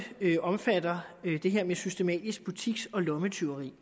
omfatter det her med systematisk butiks og lommetyveri